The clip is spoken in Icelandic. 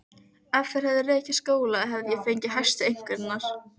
Baksvipurinn var samur við sig, slánalega aðlaðandi, og hlykkjótt göngulagið.